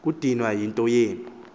kudinwa yinto yenu